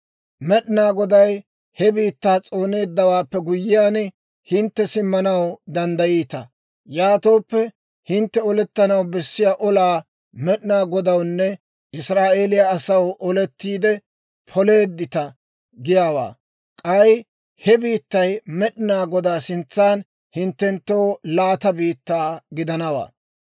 Med'inaa Goday he biittaa s'ooneeddawaappe guyyiyaan, hintte simmanaw danddayiita. Yaatooppe, hintte olettanaw bessiyaa olaa Med'inaa Godawunne Israa'eeliyaa asaw olettiide poleeddita giyaawaa. K'ay he biittay Med'inaa Godaa sintsan hinttenttoo laata biittaa gidanawaa.